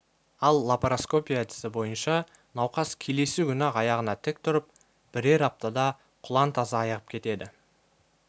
ал лапароскопия әдісі бойынша науқас келесі күні-ақ аяғына тік тұрып бірер аптада құлан таза айығып кетеді